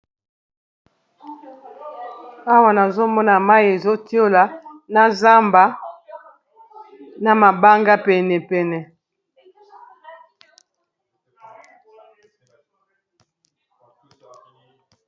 Awa nazomona mayi ezotiola na zamba na mabanga pene pene.